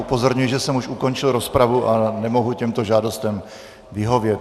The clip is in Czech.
Upozorňuji, že jsem už ukončil rozpravu a nemohu těmto žádostem vyhovět.